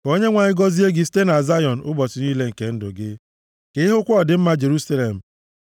Ka Onyenwe anyị gọzie gị site na Zayọn ụbọchị niile nke ndụ gị; ka i hụkwa ọdịmma Jerusalem,